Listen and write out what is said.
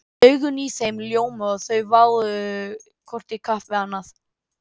Augun í þeim ljómuðu og þau váuðu hvort í kapp við annað